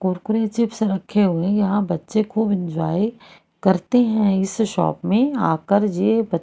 Kurkure chips रखे हुए हैं यहां बच्चे खूब एन्जॉय करते है इस शॉप में आकर ये बच--